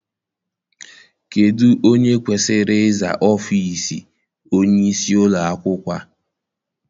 Kedụ onye kwesịrị iza ọfịịsi onyeisi ụlọakwụkwọ a?